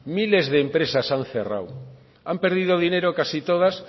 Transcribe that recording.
miles de empresas han cerrado han perdido dinero casi todas